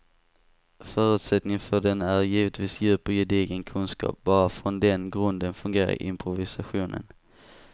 Förutsättningen för den är givetvis djup och gedigen kunskap, bara från den grunden fungerar improvisationen.